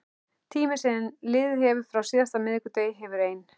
Tíminn sem liðið hefur frá síðasta miðvikudegi hefur ein